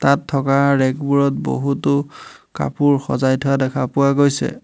তাত থকা ৰেগ বোৰত বহুতো কাপোৰ সজাই থোৱা দেখা পোৱা গৈছে।